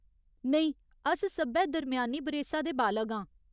नेईं, अस सब्भै दरम्यानी बरेसा दे बालग आं।